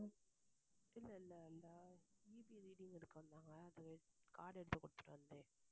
இல்ல இல்ல இல்ல EBreading எடுக்க வந்தாங்க அந்த card எடுத்து குடுத்துட்டு வந்தேன்